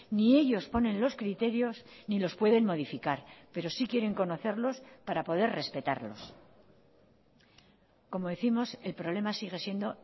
ni ellos ponen los criterios ni los pueden modificar pero sí quieren conocerlos para poder respetarlos como décimos el problema sigue siendo